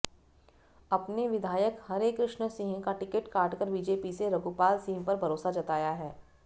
अपने विधायक हरेकृष्ण सिंह का टिकट काटकर बीजेपी से रघुपाल सिंह पर भरोसा जताया है